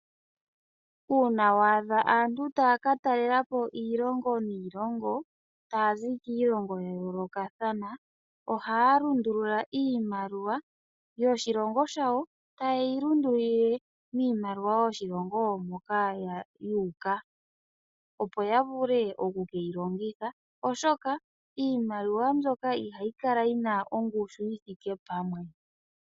Uuna waadha aantu taya katalelapo iilonga niilongo taya zi kiilongo ya yoolokathana, ohaya lundulula iimaliwa yoshilongo shawo taye yilundulula miimaliwa yoshilongo sho yuuka opo yavule oku keyi longitha oshoka iimaliwa mbyoka ihayi kala yina ongushu yithike pamwe.